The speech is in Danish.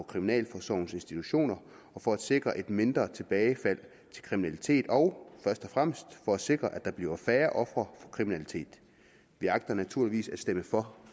kriminalforsorgens institutioner og for at sikre et mindre tilbagefald til kriminalitet og først og fremmest for at sikre at der bliver færre ofre for kriminalitet vi agter naturligvis at stemme for